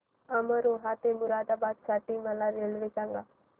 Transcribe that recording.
अमरोहा ते मुरादाबाद साठी मला रेल्वे सांगा